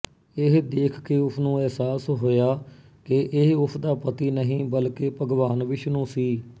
ਇਹ ਦੇਖ ਕੇ ਉਸਨੂੰ ਅਹਿਸਾਸ ਹੋਇਆ ਕਿ ਇਹ ਉਸਦਾ ਪਤੀ ਨਹੀਂ ਬਲਕਿ ਭਗਵਾਨ ਵਿਸ਼ਨੂੰ ਸੀ